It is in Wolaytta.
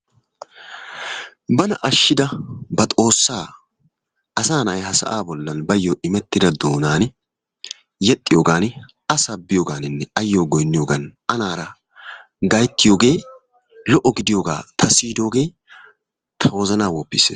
Bana ashida ba xoossaa asaa na'ay ha sa'aa bollan bayo immettida doonaani yexxiyogaan a sabbiyogaaninne a goynniyogan anaara gayttiyogee lo"o gidiyogaa ta siiyiddoogee ta wozanaa woppissees.